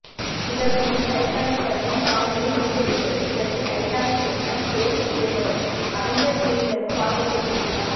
இதற்கு முன் டைட்டானிக் படத்தின் சாதனையை முறியடித்தது இதற்கு டைட்டானிக் இயக்குனர் ஜேம்ஸ் கேமரூன் அவெஞ்சர்ஸ் குழுவினருக்கு வாழ்த்துக்களை தெரிவித்தார்